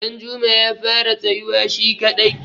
danjuma ya fara tsayuwa shi kadai